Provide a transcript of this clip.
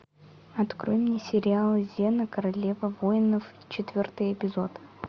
открой мне сериал зена королева воинов четвертый эпизод